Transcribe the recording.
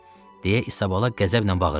Deyə İsabalala qəzəblə bağırırdı.